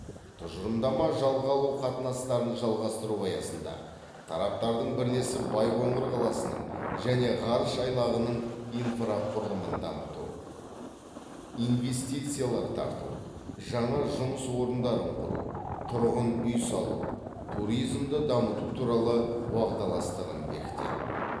тұжырымдама жалға алу қатынастарын жалғастыру аясында тараптардың бірлесіп байқоңыр қаласының және ғарыш айлағының инфрақұрылымын дамыту инвестициялар тарту жаңа жұмыс орындарын құру тұрғын үй салу туризмді дамыту туралы уағдаластығын бекітеді